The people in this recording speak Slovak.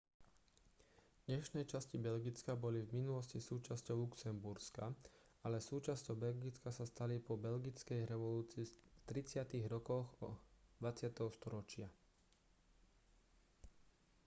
dnešné časti belgicka boli v minulosti súčasťou luxemburska ale súčasťou belgicka sa stali po belgickej revolúcii v 30-tych rokoch 20. storočia